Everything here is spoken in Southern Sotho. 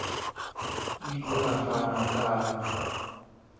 o ile a fana ka